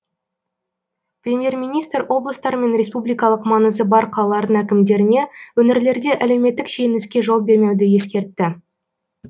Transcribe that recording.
премьер министр облыстар мен республикалық маңызы бар қалалардың әкімдеріне өңірлерде әлеуметтік шиеленіске жол бермеуді ескертті